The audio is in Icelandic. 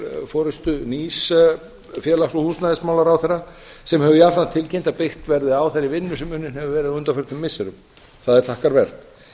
forustu nýs félags og húsnæðismálaráðherra sem hefur jafnframt tilkynnt að byggt verði á þeirri vinnu sem unnin hefur verið á undanförnum missirum það er þakkarvert